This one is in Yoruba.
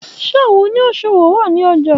Ṣe awọn oniṣowo ni ọja?